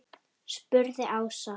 spurði Ása.